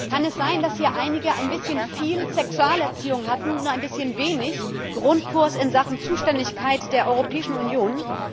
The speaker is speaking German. Kann es sein, dass hier einige ein bisschen viel Sexualerziehung hatten und ein bisschen wenig Grundkurs in Sachen Zuständigkeit der Europäischen Union?